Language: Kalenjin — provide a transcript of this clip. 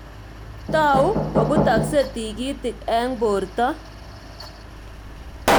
Tou kobutoksei tikitik eng borto.